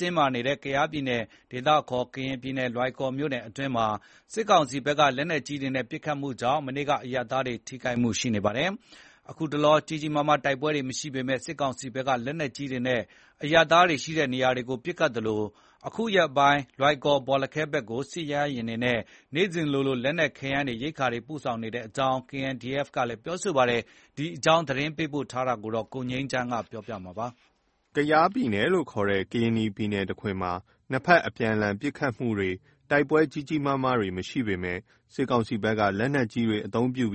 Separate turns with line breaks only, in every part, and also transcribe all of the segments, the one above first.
တင်းမာနေတဲ့ ကယားပြည်နယ် ဒေသအခေါ် ကရင်နီပြည် လွိုင်ကော်မြို့နယ်တွင်းမှာ စစ်ကောင်စီဘက်က လက်နက်ကြီးတွေနဲ့ ပစ်ခတ်မှုကြောင့် မနေ့က အရပ်သားထိခိုက်မှုတွေရှိနေပါတယ်။ ခုတလော ကြီးကြီးမားမား တိုက်ပွဲမရှိပေမယ့် စစ်ကောင်စီဖက်က လက်နက်ကြီးတွေနဲ့ အရပ်သားနေရာတွေကို ပစ်ခတ်သလို၊ အခုရက်ပိုင်း လွိုင်ကော်-ဘောလခဲဘက်ကို စစ်ရဟက်ယာဉ်တွေနဲ့ နေ့စဉ်လိုလို လက်နက်ခဲယမ်းတွေ ရိက္ခာတွေ ပို့ဆောင်နေတဲ့အကြောင်း KNDF က ပြောဆိုပါတယ်။ ဒီအကြောင်း သတင်းပေးပို့ထားတာကို ကိုငြိမ်းချမ်းက တင်ပြပေးပါမယ်။ ကယား(ကရင်နီ)ပြည် တခွင်မှာ နှစ်ဖက်အပြန်အလှန်ပစ်ခတ်မှု တိုက်ပွဲကြီးကြီးမားမား မရှိပေမယ့် စစ်ကောင်စီဘက်က လက်နက်ကြီးတွေ အသုံးပြု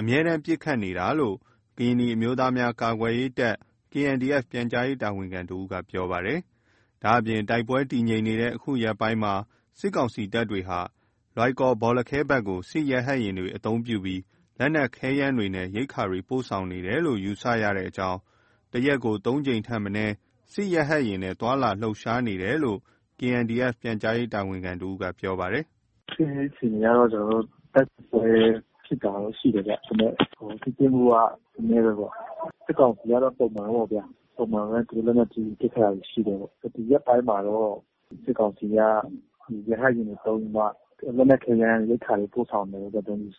အမြဲတမ်း ပစ်ခတ်နေတာလို့ ကရင်နီအမျိုးသားများကာကွယ်ရေးတပ် (KNDF) ပြန်ကြားရေးတာဝန်ခံတစ်ဦးက ပြောပါတယ်။ ဒါ့အပြင် တိုက်ပွဲတည်ငြိမ်နေတဲ့ ခုရက်ပိုင်းတွေမှာ စစ်ကောင်စီတပ်တွေဟာ လွိုင်ကော်-ဘောလခဲဖက်ကို စစ်ရဟတ်ယာဉ်တွေ အသုံးပြုပြီး လက်နက်ခဲယမ်းတွေနဲ့ ရိက္ခာတွေ ပို့ဆောင်နေတယ်လို့ ယူဆရကြောင်း၊ တစ်ရက်ကို ၃ကြိမ်ထက်မနည်း စစ်ရဟက်ယာဉ်နဲ့ သွားလာလှုပ်ရှားနေတာလို့ KNDF ပြန်ကြားရေးတာဝန်ခံတစ်ဦးက ပြောပါတယ်။ “စစ်ရေးအခြေအနေကတော့ ကျနော်တို့ တိုက်ပွဲဖြစ်တာတော့ ရှိတယ်ဗျ၊ ဒါမယ့် ထိတွေ့မှုက နည်းနည်းပဲပေါ့
အဲ့ထိတွေ့ဖြစ်တာရှိတယ်၊ ပြီးရင် စစ်ကောင်စီကတော့ ပုံမှန်ပေါ့ဗျာ ပုံမှန်ပဲ သူတို့ လက်နက်ကြီးတွေ ပစ်ခတ်တာရှိတယ်ပေါ့၊ ဒီရက်ပိုင်းမှာတော့ ဒီစစ်ကောင်စီက ရဟက်ယာဉ်တွေ သုံးပြီးမှ လက်နက် ခဲယမ်းတွေ ရိက္ခာတွေ ပို့ဆောင်တာပဲ ယူဆတယ်ပေါ့လေ ဒီ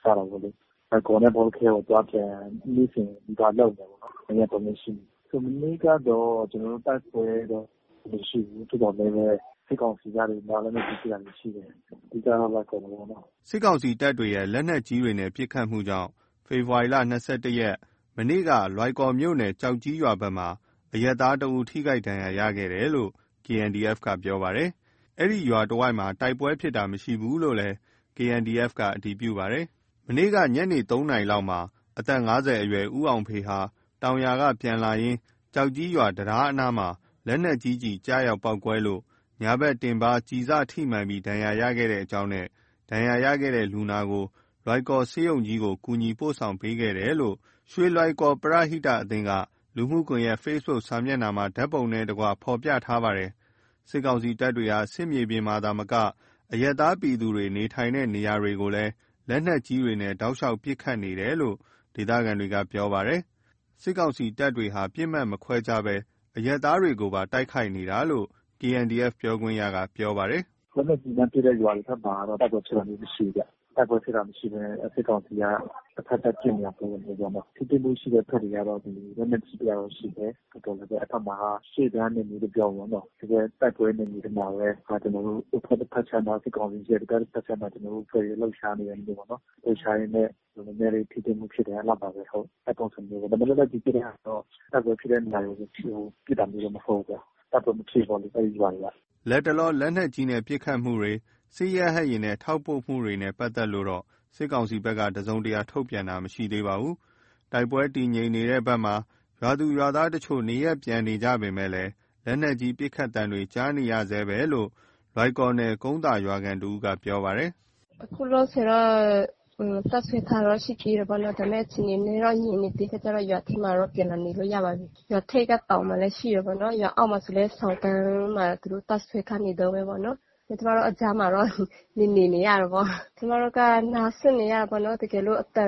လွိုင်ကော်တို့ လွိုင်ကော်နဲ့ ဘောလခဲပေါ့ အသွားအပြန် နေ့စဉ်နီးပါးလုပ်နေတယ်ပေါ့နော် နှစ်ရက် သုံးရက်ရှိပြီ။ မနေ့ကတော့ ကျနော်တို့ တိုက်ပွဲတော့ မရှိဘူး၊ သို့သော်လည်းပဲ ဒီစစ်ကောင်စီက လက်နက်ကြီးပစ်တာမျိုးရှိတယ်။ အဓိကတော့ လွိုင်ကော်မှာပေါ့နော်
။” စစ်ကောင်စီတပ်ရဲ့ လက်နက်ကြီးပစ်ခတ်မှုကြောင့် ဖေဖော်ဝါရီ ၂၁ ရက် မနေ့က လွိုင်ကော်မြို့နယ် ကျောက်ကြီးရွာဖက်မှာ အရပ်သားတစ်ဦး ထိခိုက်ဒဏ်ရာရရှိတယ်လို့ KNDF က ပြောပါတယ်။ အဲ့ရွာတဝိုက်မှာ တိုက်ပွဲဖြစ်တာ မရှိဘူးလို့ အတည်ပြု KNDF က ပြောဆိုပါတယ်။ မနေ့က ညနေ ၃နာရီလောက်မှာ အသက် ၅၀ အရွယ် ဦးအောင်ဖေ ဟာ တောင်ယာကနေပြန်လာရင်း ကျောက်ကြီးရွာ တံတားအနားမှာ လက်နက်ကြီးကျရောက်ပေါက်ကွဲလို့ ညာဘက် တင်ပါး ကျည်စထိမှန် ဒဏ်ရာရရှိခဲ့ကြောင်းနဲ့ ဒဏ်ရာရ လူနာကို လွိုင်ကော်ဆေးရုံကြီးသို့ ကူညီပို့ဆောင်ပေးခဲ့တယ်လို့ ရွှေလွိုင်ကော် ပရဟိအသင်းက လူမှုကွန်ရက် ဖေ့ဘုတ် စာမျက်နှာမှာ ဓာတ်ပုံနဲ့အတူ ဖောပြထားပါတယ်။ စစ်ကောင်စီတပ်တွေဟာ စစ်မြေပြင်သာမက အရပ်သားပြည်သူနေထိုင်တဲ့နေရာမှာလည်း လက်နက်ကြီးတွေနဲ့ တောက်လျှောက် ပစ်ခတ်နေတယ်လို့ ဒေသခံတွေကပြောပါတယ်။ စစ်ကောင်စီတပ်တွေဟာ ပစ်မှတ်မခွဲဘဲ အရပ်သားတွေကိုပါ တိုက်ခိုက်တာလို့ KNDF ပြောခွင့်ရသူက ပြောပါတယ်
။ “လက်နက်ကြီးလှမ်းပစ်တဲ့ ရွာတွေဖက်တော့ တိုက်ပွဲဖြစ်တာမျိုးမရှိဘူးဗျ၊ တိုက်ပွဲဖြစ်တာမရှိဘဲ စစ်ကောင်စီက တစ်ဖက်သက် ပစ်နေတာမျိုးပေါ့နော်။ ထိတွေ့မှုရှိတဲ့ ဖက်တွေကတော့ လက်နက်ကြီးတာတော့ ရှိတယ်၊ အဲ့ဖက်မှာ ရှေ့တန်းနယ်မြေလို့ပြောမှာပေါ့နော်၊ တိုက်ပွဲနယ်မြေတွေထဲမှာပဲ ကျနော်တို့ အဖက်ခြမ်းမှာ စစ်ကောင်စီတပ်စွဲမှာစိုးလို့ ကျနော်တို့အဖွဲ့တွေ လှုပ်ရှားနေတာပေါ့နော် လှုပ်ရှားရင်နဲ့ နည်းနည်းလေ ထိတွေ့မှုဖြစ်တာ အဲ့လောက်ပါပဲဟုတ် အဲ့ပုံစံမျိုးပဲ ဒါမယ့် လက်နက်ကြီးပစ်တဲ့ဟာတော့ တိုက်ပွဲဖြစ်တဲ့နေရာကို ပစ်တာမျိုးတော့ မဟုတ်ဘူး၊ တိုက်ပွဲမဖြစ်ဘူးပေါ့လေ အဲ့ရွာတွေက
။” လတ်တလော လက်နက်ကြီးပစ်ခတ်မှု၊ စစ်ရဟက်ယာဉ်ထောက်ပို့မှုနဲ့ ပတ်သက်လို့ စစ်ကောင်စီဘက်ကတော့ တစုံတရာထုတ်ပြန်တာ မရှိသေးပါဘူး။ တိုက်ပွဲတည်ငြိမ်နေတဲ့ဖက်မှာ ရွာသူရွာသားတချို့က နေရပ်ပြန်နေကြပေမယ့် လက်နက်ကြီး ပစ်ခတ်သံတွေ ကြားနေရဆဲပဲလို့ လွိုင်ကော်နယ် ကုန်းသာရွာခံတစ်ဦးက ပြောပါတယ်။
“အခုလောလောတော့ တပ်စွဲထားတာတော့ ရှိသေးတယ်ပေါ့နော် ဒါမယ့် အခြေအနေ နည်းနည်းငြိမ်နေသေးခါကျတော့ ရွာထဲမှာတော့ ပြန်လာနေလို့ရပါပြီး၊ ရွာထိက တောင်မှာလေ(စစ်ကောင်စီတပ်)ရှိတယ်ပေါ့နော် ရွာအောက်မှာဆိုလည်း ဆောင်းကန်ဘက်မှာ သူတို့ တပ်စွဲနေတုန်းပဲပေါ့နော် ကျမတို့ အဲ့ကြာမှာပေါ့ နေနေရတာပေါ့။ ကျနော်တို့က နားစွပ်နေရတာပေါ့နော် တကယ်လို့ အသံ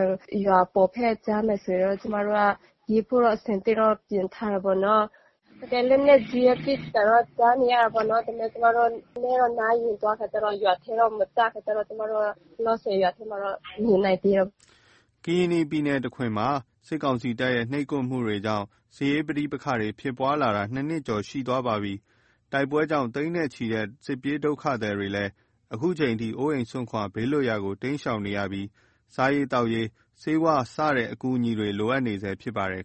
ရွာအပေါ်ဖက် ကြားမယ်ဆိုတော့ ကျမတို့က ပြေးဖို့ အဆင်သင့်ပြင်ထားတာပေ့ါနော်။ လက်နက်ကြီးပစ်ခတ်သံတော့ ကြားနေရတာပေါ့နော် ဒါမယ့် ကျမတို့ နားယဉ်သွားခါကျတော့ ရွာထဲတော့ မကျဘူးဆိုတော့ ကျမတို့က လောလောဆယ် ရွာထဲမှာတော့ နေနိုင်သေးတာပေါ့။
” ကယား(ကရင်နီ)တခွင်မှာ စစ်ကောင်စီတပ်ရဲ့ နှိပ်ကွပ်မှုတွေကြောင့် စစ်ရေးပဋိပက္ခဖြစ်ပွားလာတာ နှစ်နှစ်ကျော် ရှိသွားပါပြီ။ တိုက်ပွဲကြောင့် သိန်းနဲ့ချီတဲ့ စစ်ပြေးဒုက္ခသည်တွေလည်း ခုချိန်ထိ အိုးအိမ်စွန့်ခွာ ဘေးလွတ်ရာမှာ တိမ်းရှောင်နေကြပြီး စားရေသောက်ရေး ဆေးဝါး စတဲ့ အကူအညီတွေ လိုအပ်နေဆဲဖြစ်ပါတယ်